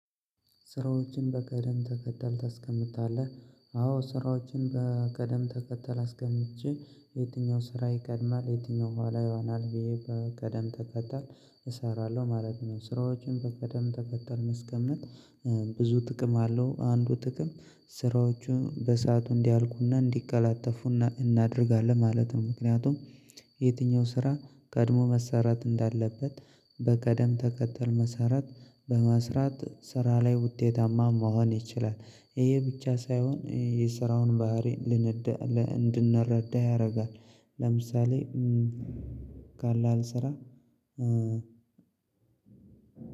ስራዎችን በቅደም ተከተል ታስቀምጣለህ አዎ ስራዎችን በቅደም ተከተል አስቀምጬ የትኛው ስራ ይቀድማል የትኛው ኋላ ይሆናል ብዬ በቀደም ተቀጣል እሰራለሁ ማለት ነው። ስራዎችን በቀደም ተከተል ማስቀመጥ። ብዙ ጥቅም አለው አንዱ ጥቅም ስራዎቹ በሰአቱ እንዲያልቁና እንዲቀላጠፉ እናደርጋለን ማለትም ምክንያቱም የትኛው ስራ ቀድሞ መሰራት እንዳለበት በትደም ተከተል መሰራት በመስራት ስራ ላይ ውጤታማ መሆን ይችላል። ይሄ ብቻ ሳይሆን የስራውን ባህሪ እንድንረዳ ያደርጋል። ለምሳሌ ካለ አልሰራ